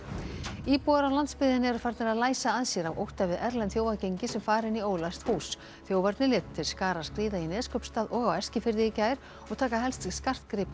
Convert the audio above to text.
íbúar á landsbyggðinni eru farnir að læsa að sér af ótta við erlend þjófagengi sem fara inn í ólæst hús þjófarnir létu til skarar skríða í Neskaupstað og á Eskifirði í gær og taka helst skartgripi og